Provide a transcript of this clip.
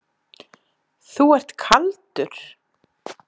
Þú ert kaldur!